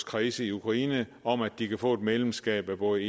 kredse i ukraine om at de kan få et medlemskab af både